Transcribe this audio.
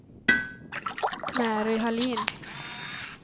Mary Hallin